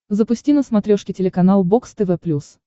запусти на смотрешке телеканал бокс тв плюс